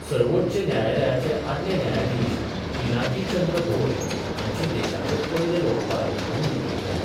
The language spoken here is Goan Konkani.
सर्वोच्च न्यायालयाचे आदले न्यायाधीश पिनाकी चंद्र घोष हांची देशाचे पयले लोकपाल म्हुण नेमणूक जाल्या.